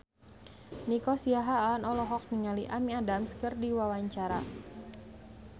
Nico Siahaan olohok ningali Amy Adams keur diwawancara